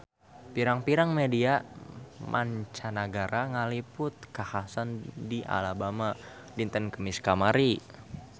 Pirang-pirang media mancanagara ngaliput kakhasan di Alabama dinten Kemis kamari